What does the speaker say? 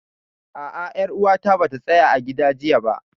A'a, ƴar uwata bata tsaya a gida jiya ba